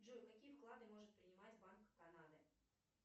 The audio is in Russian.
джой какие вклады может принимать банк канады